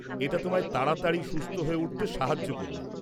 এটা তোমায় তাড়াতাড়ি সুস্থ হয়ে উঠতে সাহায্য করবে।